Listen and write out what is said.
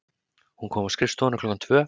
Hún kom á skrifstofuna klukkan tvö.